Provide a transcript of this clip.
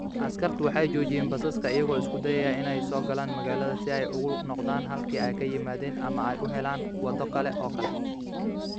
Askartu waxay joojinayeen baska iyagoo isku dayaya inuu soo galo magaalada si ay ugu noqdaan halkii ay ka yimaadeen ama ay u helaan waddo kale oo kale